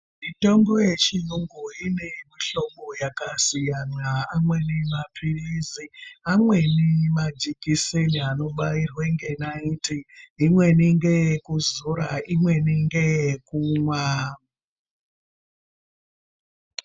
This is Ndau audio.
Mitombo yechirungu ine mihlobo yakasiyana amweni mapirizi amweni majekiseni anobairwa nenaiti imweni ndeye kuzora imweni ndeye kumwa.